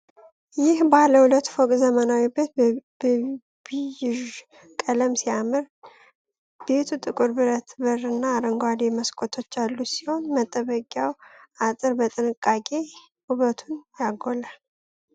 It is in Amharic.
ይህ ባለ ሁለት ፎቅ ዘመናዊ ቤት በቢዥ ቀለም ሲያምር ። ቤቱ ጥቁር ብረት በር እና አረንጓዴ መስኮቶች ያሉት ሲሆን፣ መጠበቂያው አጥር በጥንቃቄ ውበቱን ያጎላል።